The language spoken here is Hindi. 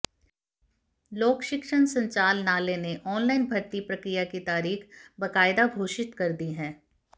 लोक शिक्षण संचालनालय ने ऑनलाइन भर्ती प्रक्रिया की तारीख बाकायदा घोषित कर दी है